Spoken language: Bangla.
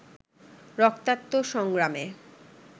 রক্তাক্ত সংগ্রামে